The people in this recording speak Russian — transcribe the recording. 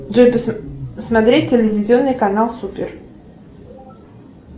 джой смотреть телевизионный канал супер